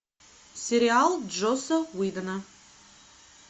сериал джосса уидона